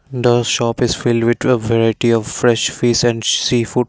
the shop is filled with variety of fresh fish and sea food.